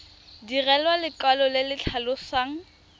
direlwa lekwalo le le tlhalosang